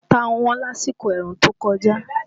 Ata wọ́n lásìkò ẹ̀rùn tó kọjá